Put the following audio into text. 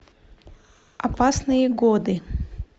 опасные годы